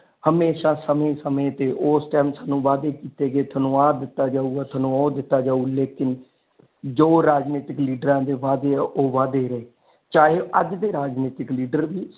ਹਮੇਸ਼ਾ ਸਮੇ ਸਮੇ ਤੇ ਉਸ ਟਾਈਮ ਸਾਨੂੰ ਵਾਧੇ ਕੀਤੇ ਗਏ ਤੁਹਾਨੂੰ ਆ ਦਿੱਤਾ ਜਾਊਗਾ ਤੁਹਾਨੂੰ ਉਹ ਦਿੱਤਾ ਜਾਊਗਾ ਲੇਕਿਨ ਜੋ ਰਾਜਨੀਤਿਕ ਲੀਡਰਾਂ ਦੇ ਵਾਧੇ ਨੇ ਉਹ ਵਾਧੇ ਰਹੇ ਚਾਹੇ ਅੱਜ ਦੇ ਰਾਜਨੀਤਿਕ ਲੀਡਰ ਵੀ,